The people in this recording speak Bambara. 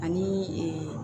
Ani